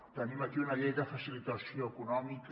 tenim aquí una llei de facilitació econòmica